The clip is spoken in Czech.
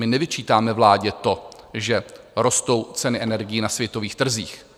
My nevyčítáme vládě to, že rostou ceny energií na světových trzích.